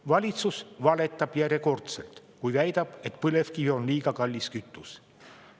Valitsus valetab järjekordselt, kui väidab, et põlevkivi on liiga kallis kütus.